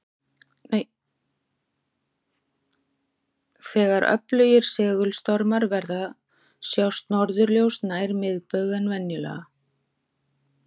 Þegar öflugir segulstormar verða sjást norðurljós nær miðbaug en venjulega.